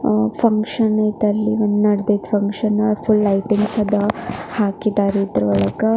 ಆ ಫಂಕ್ಷನ್ ಇತ್ತು ಅಲ್ಲಿ ನಿನ್ನೆ ಫಂಕ್ಷನ್ ಇತ್ತು ಲೈಟಿಂಗ್ಸ್ ಎಲ್ಲ ಹಾಕಿದ್ದಾರೆ ಇದರ ಒಳಗೆ .